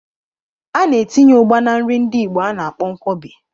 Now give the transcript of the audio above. A na-etinye Ugba na nri ndi igbo a na-akpọ Nkwobi.